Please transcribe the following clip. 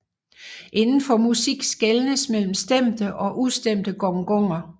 Inden for musik skelnes mellem stemte og ustemte gonger